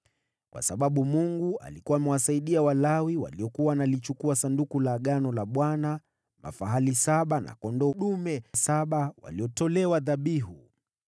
Kwa sababu Mungu alikuwa amewasaidia Walawi waliokuwa wanalichukua Sanduku la Agano la Bwana , mafahali saba na kondoo dume saba walitolewa dhabihu.